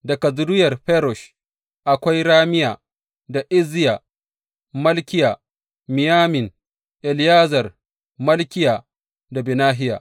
Daga zuriyar Farosh, akwai Ramiya, da Izziya, Malkiya, Miyamin, Eleyazar, Malkiya da Benahiya.